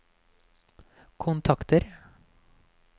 kontakter